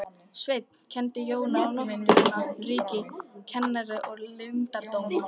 Sveinn kenndi Jóni á náttúrunnar ríki, kenjar og leyndardóma.